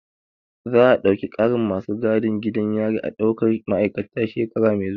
Za a ɗauki ƙarin masu gadin gidan yari a ɗaukar ma'aikata shekara mai zuwa